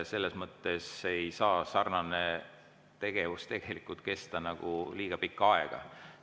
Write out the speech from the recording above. Selles mõttes ei saa sarnane tegevus kesta nagu liiga pikka aega.